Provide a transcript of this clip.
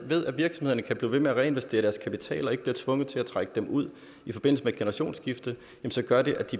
ved at virksomhederne kan blive ved med at reinvestere deres kapital og ikke bliver tvunget til at trække den ud i forbindelse med et generationsskifte